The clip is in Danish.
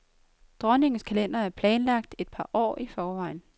Dronningens kalender er planlagt et par år i forvejen.